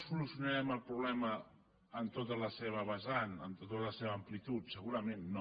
solucionarem el problema en tota la seva vessant en tota la seva am·plitud segurament no